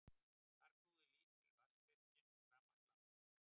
Þar knúði lítil vatnsvirkjun rafmagnslampa.